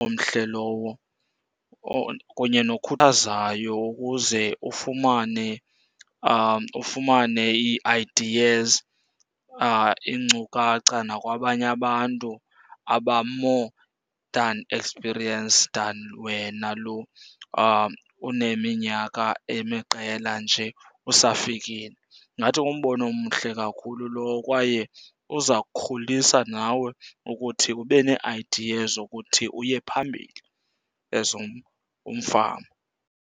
Omhle lowo kunye nokhwazayo ukuze ufumane , ufumane ii-ideas iinkcukacha nakwabanye abantu aba-more than experienced than wena lo uneminyaka emiqela nje usafikile. Ndingathi ngumbono omhle kakhulu lowo, kwaye uza kukhulisa nawe ukuthi ube nee-ideas zokuthi uye phambili as umfama.